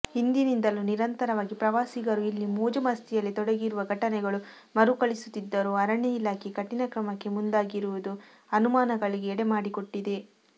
ಹಿಂದಿನಿಂದಲೂ ನಿರಂತರವಾಗಿ ಪ್ರವಾಸಿಗರೂ ಇಲ್ಲಿ ಮೋಜುಮಸ್ತಿಯಲ್ಲಿ ತೊಡಗಿರುವ ಘಟನೆಗಳು ಮರುಕಳಿಸುತ್ತಿದ್ದರೂ ಅರಣ್ಯ ಇಲಾಖೆ ಕಠಿಣ ಕ್ರಮಕ್ಕೆ ಮುಂದಾಗದಿರುವುದು ಅನುಮಾನಗಳಿಗೆ ಎಡೆಮಾಡಿಕೊಟ್ಟಿದೆ